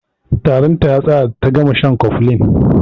Tarin ta ya tsaya da ta gama shan cofflin.